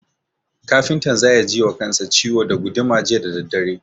Kafintan za ya ji wa kansa ciwo da guduma jiya da daddare.